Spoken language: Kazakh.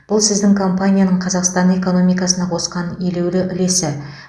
бұл сіздің компанияның қазақстан экономикасына қосқан елеулі үлесі